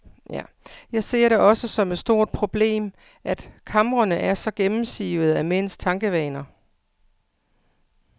Jeg ser det også som et stort problem, at kamrene er så gennemsivede af mænds tankevaner.